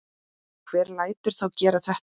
Hver lætur þá gera þetta?